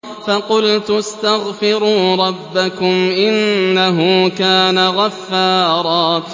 فَقُلْتُ اسْتَغْفِرُوا رَبَّكُمْ إِنَّهُ كَانَ غَفَّارًا